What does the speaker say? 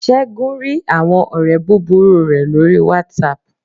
según rí awọn ọrẹ búbúrú re lorí watsap